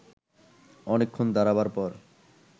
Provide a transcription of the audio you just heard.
অনেকক্ষণ দাঁড়াবার পর